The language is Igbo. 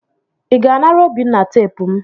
ị ga anara obinna teepu m?